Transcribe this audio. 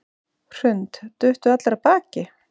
Hrund: Duttu allir af baki?